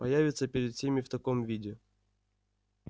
появиться перед всеми в таком виде